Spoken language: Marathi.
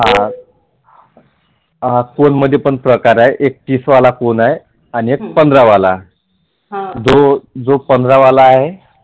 कोनमध्येही प्रकार आहेत एक तीस वाला कोन आहे आणि एक पंधरा वाला जो पंधरा वाला आहे